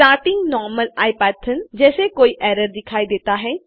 starting normal Ipython जैस कोई error दिखाई देता है